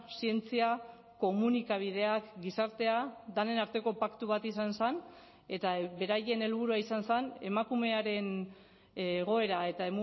zientzia komunikabideak gizartea denen arteko paktu bat izan zen eta beraien helburua izan zen emakumearen egoera eta